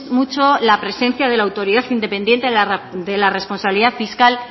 mucho la presencia de la autoridad independiente de la responsabilidad fiscal